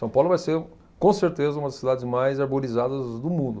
São Paulo vai ser, com certeza, uma das cidades mais arborizadas do mundo.